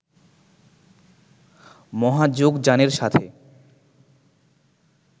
মহাযোগযানের সাথে